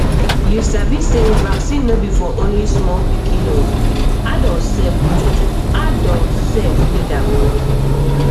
you sabi sey vaccine no be for only small pikin o adult sef need adult sef need am